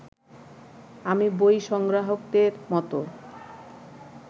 আমি বই সংগ্রাহকদের মতো